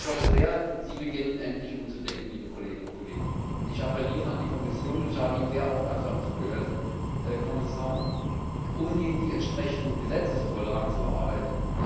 Ich hoffe sehr, Sie beginnen endlich umzudenken, liebe Kolleginnen und Kollegen. Ich appelliere an die Kommission und ich habe Ihnen sehr aufmerksam zugehört, Herr Kommissar umgehend die entsprechenden Gesetzesvorlagen zu erarbeiten.